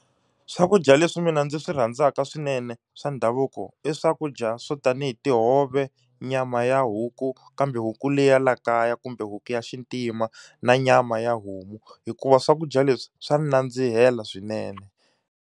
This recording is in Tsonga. Swakudya leswi mina ndzi swi rhandzaka swinene swa ndhavuko i swakudya swo tanihi tihove, nyama ya huku, kambe huku leyi ya la kaya kumbe huku ya xintima na nyama ya homu. Hikuva swakudya leswi swa ni nandzihela swinene.